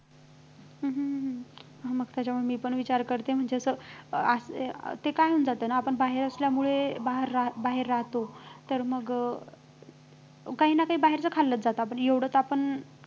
हम्म हम्म हम्म हम्म मग तर मी पण विचार करते म्हणजे असं ते काय म्हणतात त्याला आपण बाहेर असल्यामुळे बाहेर राहत बाहेर राहतो तर मग काही ना काही बाहेरचं खाल्लंच जातं आपण एवढं तर आपण